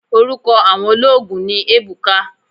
Oruko awon oloogun ni Ebuka